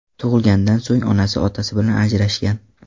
tug‘ilgandan so‘ng onasi otasi bilan ajrashgan.